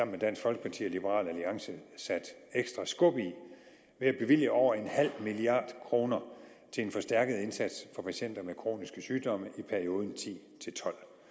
med dansk folkeparti og liberal alliance sat ekstra skub i ved at bevilge over en halv milliard kroner til en forstærket indsats for patienter med kroniske sygdomme i perioden to